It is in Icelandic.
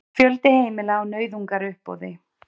Fjöldi heimila á nauðungaruppboði